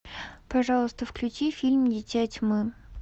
пожалуйста включи фильм дитя тьмы